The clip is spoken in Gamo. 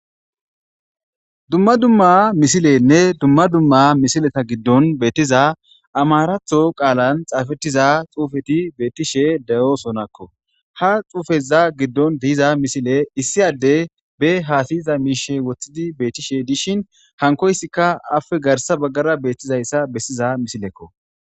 Duma duma missilenne duma duma missileta giddon bettiza ammaratho qallan xaffetiza xuffeti bettishe de'osonako ha xuffeza giddon diza missile issi addey be hasayiza misha wothidi bettishe dishshin hankoyisika appe garsa baggara bettizayssa besiza missileko.